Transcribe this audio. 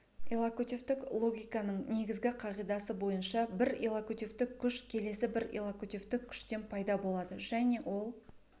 иллокутивтік логиканың негізгі қағидасы бойынша бір иллокутивтік күш келесі бір иллокутивтік күштен пайда болады және ол